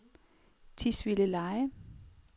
Tisvildeleje